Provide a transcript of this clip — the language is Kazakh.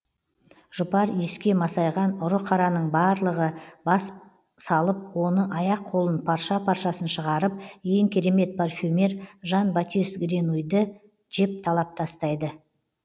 жұпар иіске масайған ұры қараның барлығы бас салып оны аяқ қолын парша паршасын шығарып ең керемет парфюмер жан батис гренуйді жеп талап тастайды